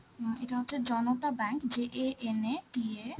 আ এটা হচ্ছে, Janata bank, J A N A T A